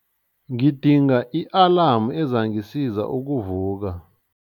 Ngidinga i-alamu ezangisiza ukuvuka.